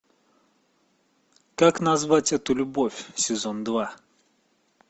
как назвать эту любовь сезон два